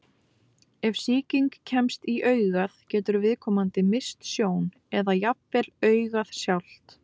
Ef sýking kemst í augað getur viðkomandi misst sjón, eða jafnvel augað sjálft.